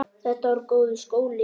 Þetta var góður skóli.